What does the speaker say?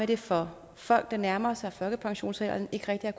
det for folk der nærmer sig folkepensionsalderen ikke rigtig har